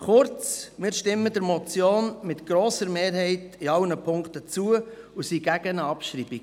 Kurz: Wir stimmen dieser Motion mit einer grossen Mehrheit in allen Punkten zu und sind gegen eine Abschreibung.